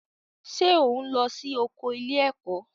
Ṣé ò ń lọ sí oko ilé-ẹ̀kọ́?